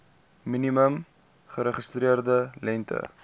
minimum geregistreerde lengte